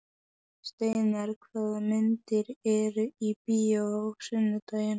Steinar, hvaða myndir eru í bíó á sunnudaginn?